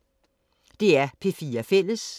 DR P4 Fælles